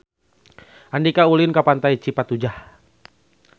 Andika ulin ka Pantai Cipatujah